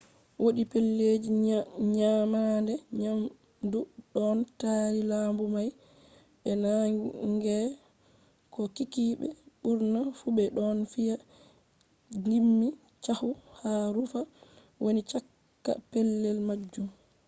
wodi pellelji nyamande nyamdu ɗon tari lambu may be naange ko kikkiɓe ɓurna fu ɓe ɗon fiya gimmi caahu ha rumfa wani cakka pellel majum